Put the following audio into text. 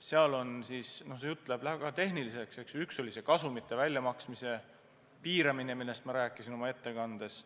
See jutt läheb küll väga tehniliseks, aga üks samm oli kasumite väljamaksmise piiramine, millest ma rääkisin oma ettekandes.